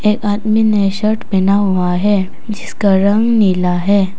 एक आदमी ने शर्ट पहना हुआ है जिसका रंग नीला है।